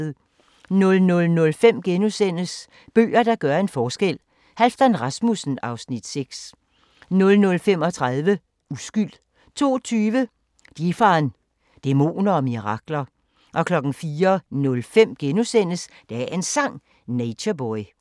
00:05: Bøger, der gør en forskel – Halfdan Rasmussen (Afs. 6)* 00:35: Uskyld 02:20: Dheepan – Dæmoner og mirakler 04:05: Dagens Sang: Nature Boy *